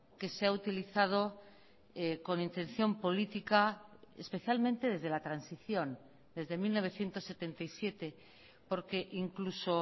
que se ha utilizado con intención política especialmente desde la transición desde mil novecientos setenta y siete porque incluso